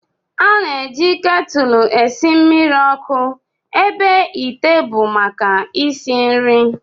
A na-eji ketụl esi mmiri ọkụ ebe ite bụ maka isi nri